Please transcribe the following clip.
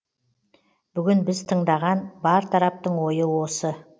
бүгін біз тыңдаған бар тараптың ойы осы